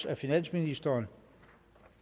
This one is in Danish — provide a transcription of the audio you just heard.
af finansministeren